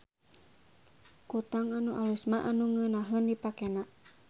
Kutang anu alus mah anu ngeunaheun dipakena.